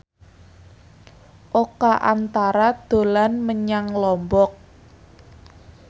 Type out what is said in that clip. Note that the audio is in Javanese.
Oka Antara dolan menyang Lombok